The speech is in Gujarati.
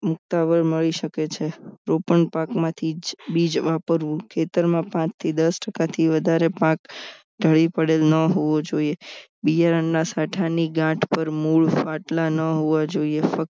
મુક્તોતાવળ મળી શકે છે પણ પાકમાંથી જ વાપરવું ખેતરમાં પાંચથી દસ ટકાથી વધારે પાક ઢળી પડે ન હોવું જોઈએ બીયારણ ની સાઠા ગાંઠ પર મૂળ ફાટેલા ન હોવા જોઈએ ફક્ત